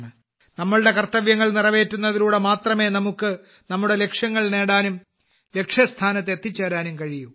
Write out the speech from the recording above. നമ്മുടെ കർത്തവ്യങ്ങൾ നിറവേറ്റുന്നതിലൂടെ മാത്രമേ നമുക്ക് നമ്മുടെ ലക്ഷ്യങ്ങൾ നേടാനും ലക്ഷ്യസ്ഥാനത്ത് എത്തിച്ചേരാനും കഴിയൂ